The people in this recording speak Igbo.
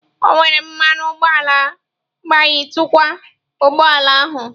O were mmanụ ụgbọala gbayitukwa ụgbọ ala ahụ.